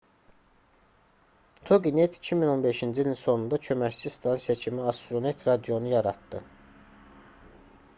toginet 2015-ci ilin sonunda köməkçi stansiya kimi astronet radionu yaratdı